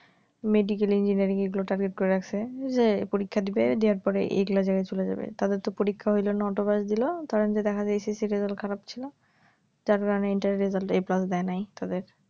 medical engineering এগুলো target করে আছে যে পরীক্ষা দিবে দেওয়ার পরে গালা জায়গায় চলে যাবে তাদের তো পরীক্ষা হইলো নটা বাজতেছিলো কারণ দেখা যাইতেছিলো result খারাপ ছিল যার কারণে interview result এ A positive দেয় নাই তাদের